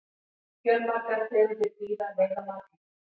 fjölmargar tegundir dýra veiða marglyttur